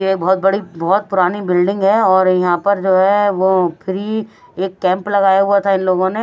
ये बहुत बड़ी बहुत पुरानी बिल्डिंग है और यहाँ पर जो है वो फ्री एक कैंप लगाया हुआ था इन लोगों ने --